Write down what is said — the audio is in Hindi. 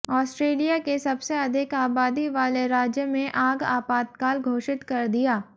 ऑस्ट्रेलिया के सबसे अधिक आबादी वाले राज्य में आग आपातकाल घोषित कर दिया